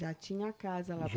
Já tinha casa lá?